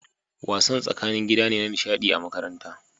Wasan tsakanin gida ne na nishaɗi a makaranta